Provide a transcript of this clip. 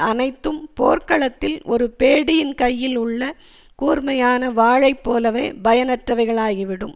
அனைத்தும் போர்க்களத்தில் ஒரு பேடியின் கையில் உள்ள கூர்மையான வாளை போலவே பயனற்றவைகளாகி விடும்